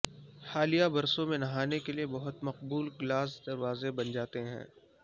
حالیہ برسوں میں نہانے کے لئے بہت مقبول گلاس دروازے بن جاتے ہیں